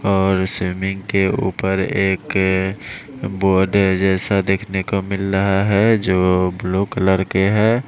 और स्विमिंग के ऊपर एक पौधे जैसा दिखने को मिल रहा है जो ब्लू कलर के हैं।